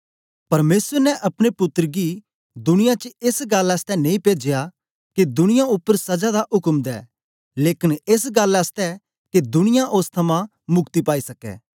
परमेसर ने अपने पुत्तर गी दुनियां च एस गल्लां नेई पेजया के दुनियां उपर सजा दा उक्म दे लेकन एस गल्लां के दुनिया ओस थमां मुक्ति पाई सकै